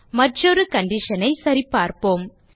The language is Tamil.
மற்றொரு கண்டிஷன் ஐ சரிபார்ப்போம்